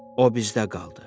O bizdə qaldı.